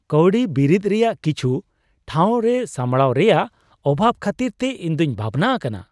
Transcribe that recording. ᱠᱟᱶᱰᱤ ᱵᱤᱨᱤᱫ ᱨᱮᱭᱟᱜ ᱠᱤᱪᱷᱩ ᱴᱷᱟᱶᱨᱮ ᱥᱟᱢᱲᱟᱣ ᱨᱮᱭᱟᱜ ᱚᱵᱷᱟᱵᱽ ᱠᱷᱟᱹᱛᱤᱨᱛᱮ ᱤᱧᱫᱩᱧ ᱵᱷᱟᱵᱽᱱᱟ ᱟᱠᱟᱱᱟ ᱾